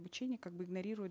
обучение как бы игнорирует